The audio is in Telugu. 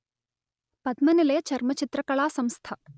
పద్మనిలయ చర్మచిత్రకళా సంస్థ